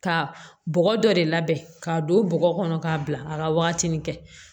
Ka bɔgɔ dɔ de labɛn k'a don bɔgɔ kɔnɔ k'a bila a ka wagatini kɛ